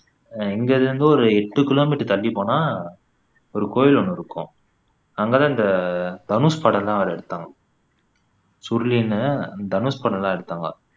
அஹ் எங்க இதுல இருந்து ஒரு எட்டு கிலோமீட்டர் தள்ளிப்போனா ஒரு கோயில் ஒண்ணு இருக்கும் அங்க தான் இந்த தனுஷ் படம் எல்லாம் வேற எடுத்தாங்க சுருளின்னு தனுஷ் படம்லாம் எடுத்தாங்க